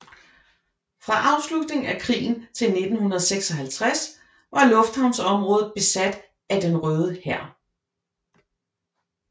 Fra afslutningen af krigen til 1956 var lufthavnsområdet besat af Den Røde Hær